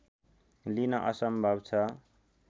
लिन असम्भव छ